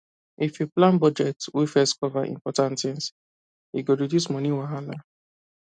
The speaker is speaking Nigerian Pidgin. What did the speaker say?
if you plan budget wey first cover important things e go reduce money wahala